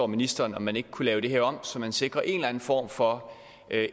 ministeren om man ikke kunne lave det her om så man sikrer en eller anden form for